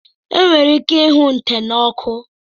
E nwere ike ịhụ nte n'oku